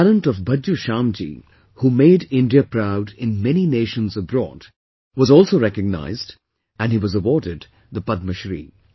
The talent of Bhajju Shyam ji, who made India proud in many nations abroad, was also recognized and he was awarded the Padma Shri